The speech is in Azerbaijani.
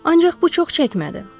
Ancaq bu çox çəkmədi.